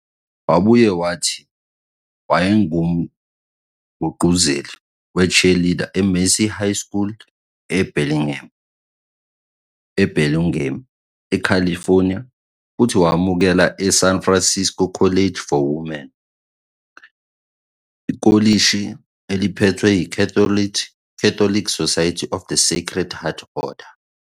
Wabuye wathi wayengumgqugquzeli we-cheerleader e-Mercy High School e- Burlingame, e-California, futhi wamukelwa e- San Francisco College for Women, ikolishi eliphethwe yi-Catholic Society of the Sacred Heart order.